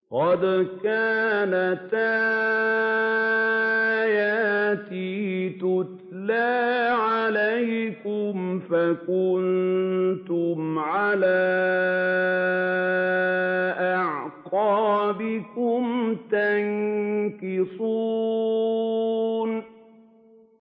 قَدْ كَانَتْ آيَاتِي تُتْلَىٰ عَلَيْكُمْ فَكُنتُمْ عَلَىٰ أَعْقَابِكُمْ تَنكِصُونَ